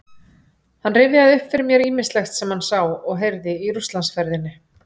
Hann rifjaði upp fyrir mér ýmislegt sem hann sá og heyrði í Rússlandsferðinni